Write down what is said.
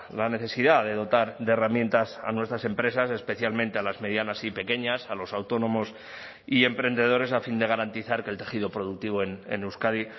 la necesidad de dotar de herramientas a nuestras empresas especialmente a las medianas y pequeñas a los autónomos y emprendedores a fin de garantizar que el tejido productivo en euskadi